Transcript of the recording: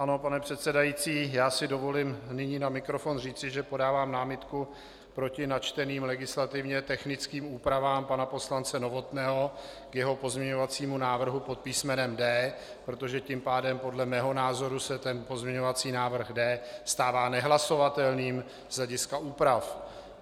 Ano, pane předsedající, já si dovolím nyní na mikrofon říci, že podávám námitku proti načteným legislativně technickým úpravám pana poslance Novotného k jeho pozměňovacímu návrhu pod písmenem D, protože tím pádem podle mého názoru se ten pozměňovací návrh D stává nehlasovatelným z hlediska úprav.